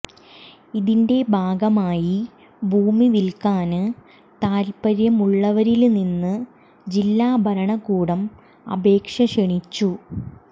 ഇതിന്റെ ഭാഗമായി ഭൂമി വില്ക്കാന് താത്പര്യമുള്ളവരില്നിന്ന് ജില്ലാ ഭരണകൂടം അപേക്ഷ ക്ഷണിച്ചു